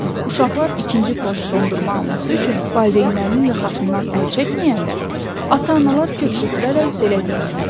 Uşaqlar ikinci pors dondurma alması üçün valideynlərinin yaxasından əl çəkməyəndə, ata-analar köks ötürərək belə deyirdilər: